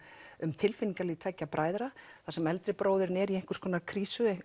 um tilfinningalíf tveggja bræðra þar sem eldri bróðirinn er í einhvers konar krísu